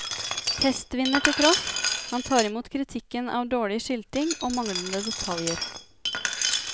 Testvinner til tross, han tar i mot kritikken om dårlig skilting og manglende detaljer.